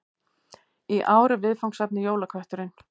Í ár er viðfangsefnið Jólakötturinn